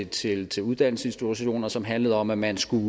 til til uddannelsesinstitutioner som handlede om at man skulle